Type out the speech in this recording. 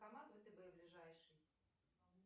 банкомат втб ближайший